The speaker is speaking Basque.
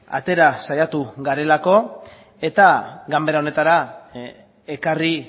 atera saiatu garelako eta ganbara honetara ekarri